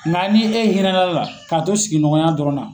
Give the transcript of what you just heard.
Nka ni e hinɛ na la k'a to sigiɲɔgɔn ya dɔrɔn na.